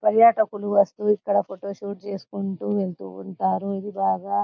పరియటకులు వస్తూ ఎక్కడ photos shoot తీసుకుంటు వెళ్తుటారు ఇది బాగా